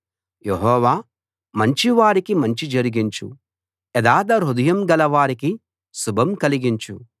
యెహోవా మంచివారికి మంచి జరిగించు యథార్థహృదయం గలవారికి శుభం కలిగించు